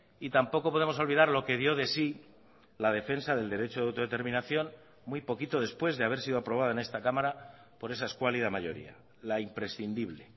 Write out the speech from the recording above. y tampoco podemos olvidar lo que dio de sí la defensa del derecho de autodeterminación muy poquito después de haber sido aprobada en esta cámara por esa escuálida mayoría la imprescindible